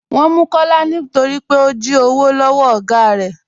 Wọn mú Kọlá nítorí pé ó jí òwò lọwọ́ ọ̀gá rẹ.